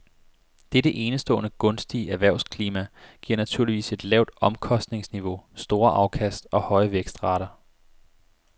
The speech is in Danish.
Dette enestående gunstige erhvervsklima giver naturligvis et lavt omkostningsniveau, store afkast og høje vækstrater.